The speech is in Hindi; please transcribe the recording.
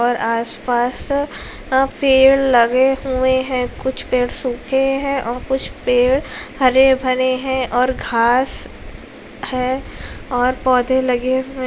और आसपास पेड़ लगे हुए हैं। कुछ पेड़ सूखे हैं और कुछ पेड़ हरे-भरे हैं और घास हैं और पौधे लगे हुए --